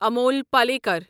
Amul Palekar